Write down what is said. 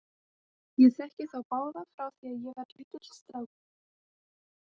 Ég þekki þá báða frá því að ég var lítill strákur.